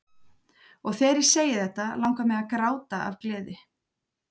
Og þegar ég segi þetta langar mig til að gráta af gleði.